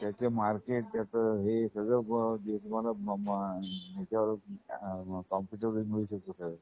त्याच मार्केट त्याच सगळं निर्भर त्याच कॉम्पुटरवरच सगळं